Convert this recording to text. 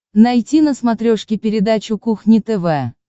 найти на смотрешке передачу кухня тв